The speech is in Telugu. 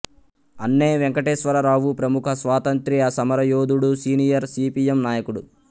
అన్నే వెంకటేశ్వరరావు ప్రముఖ స్వాతంత్ర్య సమరయోధుడు సీనియర్ సీపీఎం నాయకుడు